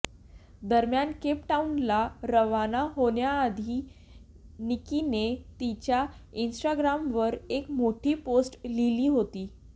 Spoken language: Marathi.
दरम्यान केपटाऊनला रवाना होण्याआधीही निक्कीनं तिच्या इन्स्टाग्रामवर एक मोठी पोस्ट लिहिली होती